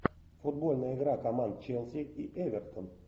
футбольная игра команд челси и эвертон